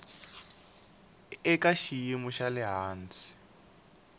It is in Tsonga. eka xiyimo xa le hansi